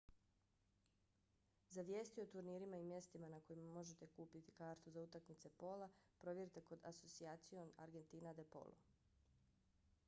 za vijesti o turnirima i mjestima na kojima možete kupiti kartu za utakmice pola provjerite kod asociacion argentina de polo